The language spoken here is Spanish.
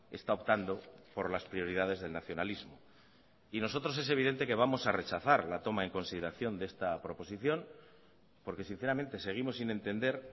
está optando por las prioridades del nacionalismo y nosotros es evidente que vamos a rechazar la toma en consideración de esta proposición porque sinceramente seguimos sin entender